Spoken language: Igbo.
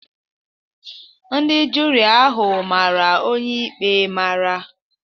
Ndị juri ahụ mara onye ikpe mara.